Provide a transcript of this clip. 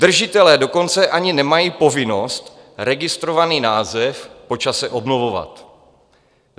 Držitelé dokonce ani nemají povinnost registrovaný název po čase obnovovat.